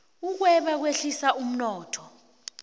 ukweba kwehlisa umnotho